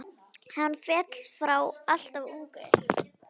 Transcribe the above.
Hann féll frá alltof ungur.